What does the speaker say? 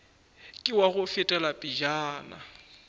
ke wa go fetela pejana